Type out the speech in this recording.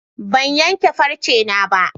Ban yanke farcena ba.